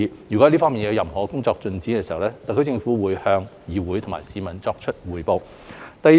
若這方面的工作有新進展，特區政府會向議會和市民匯報。